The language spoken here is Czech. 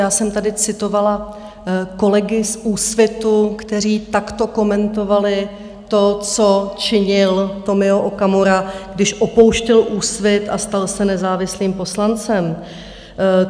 Já jsem tady citovala kolegy z Úsvitu, kteří takto komentovali to, co činil Tomio Okamura, když opouštěl Úsvit a stal se nezávislým poslancem.